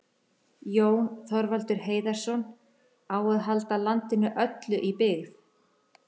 Jón Þorvaldur Heiðarsson,: Á að halda landinu öllu í byggð?